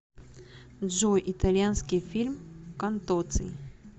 джой итальянский фильм контоций